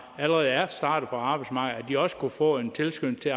og allerede er startet på arbejdsmarkedet også kunne få en tilskyndelse